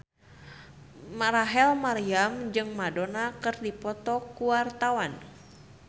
Rachel Maryam jeung Madonna keur dipoto ku wartawan